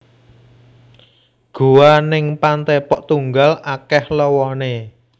Goa ning Pantai Pok Tunggal akeh lowone